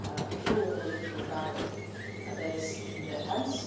unity through a political dialogue that is in their hands.